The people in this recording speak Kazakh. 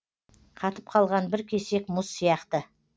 қатып қалған бір кесек мұз сияқты